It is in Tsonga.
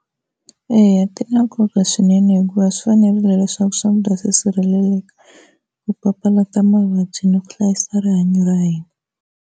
Eya ti na nkoka swinene hikuva swi fanerile leswaku swakudya swi sirheleleka ku papalata mavabyi ni ku hlayisa rihanyo ra hina.